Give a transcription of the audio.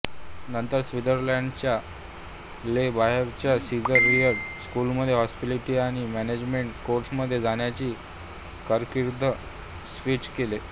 नंतर स्वित्झर्लंडच्या ले बोव्हरेटच्या सीझर रिट्झ स्कूलमध्ये हॉस्पिटॅलिटी आणि मॅनेजमेंट कोर्समध्ये जाण्यासाठी कारकीर्द स्विच केले